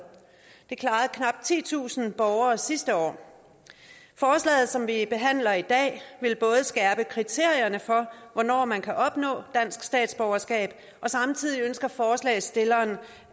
det klarede knap titusind borgere sidste år forslaget som vi behandler i dag vil både skærpe kriterierne for hvornår man kan opnå dansk statsborgerskab og samtidig ønsker forslagsstillerne